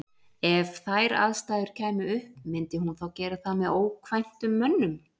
EF þær aðstæður kæmu upp, myndi hún þá gera það með ókvæntum mönnum?